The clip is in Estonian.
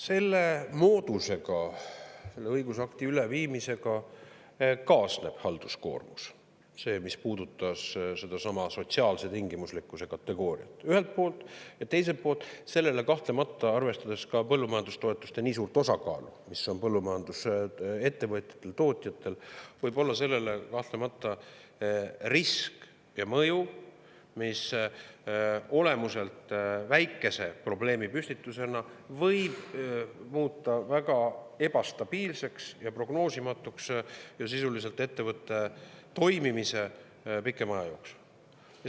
Selle moodusega, selle õigusakti ülevõtmisega kaasneb halduskoormus – see puudutab sedasama sotsiaalse tingimuslikkuse kategooriat – ühelt poolt ja teiselt poolt võib seal kahtlemata, arvestades ka põllumajandustoetuste nii suurt osakaalu, mis on põllumajandusettevõtjatel, ‑tootjatel, olla sellele vaatamata risk ja mõju, mis olemuselt väikese probleemipüstituse võib muuta väga ebastabiilseks ja prognoosimatuks ning sisuliselt ettevõtte toimimist pikema aja jooksul.